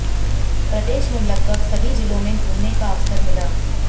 प्रदेश में लगभग सभी जिलों में घूमने का अवसर मिला